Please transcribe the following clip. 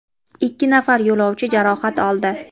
ikki nafar yo‘lovchi jarohat oldi.